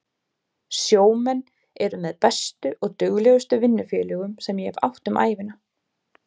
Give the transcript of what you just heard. Sjómenn eru með bestu og duglegustu vinnufélögum sem ég hef átt um ævina.